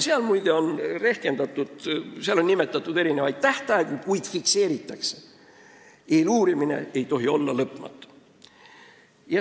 Seal, muide, on nimetatud erinevaid tähtaegu, kuid need on fikseeritud – eeluurimine ei tohi olla lõpmatu.